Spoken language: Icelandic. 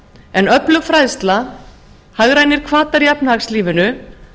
en öflug fræðsla hagrænir hvatar í efnahagslífinu